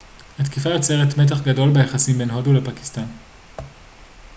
התקיפה יוצרת מתח גדול ביחסים בין הודו לפקיסטן